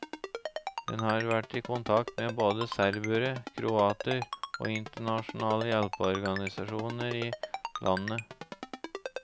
Den har vært i kontakt med både serbere, kroater og internasjonale hjelpeorganisasjoner i landet.